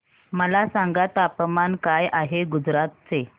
मला सांगा तापमान काय आहे गुजरात चे